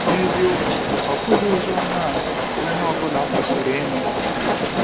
N’eziokwu, ọ̀ bụghị ozi ọma a a ka onye ọ bụla kwesịrị ịnụ?